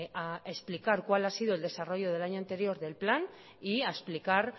a explicar cuál ha sido el desarrollo del año anterior del plan y a explicar